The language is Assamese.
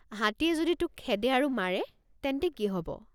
হাতীয়ে যদি তোক খেদে আৰু মাৰে তেন্তে কি হব?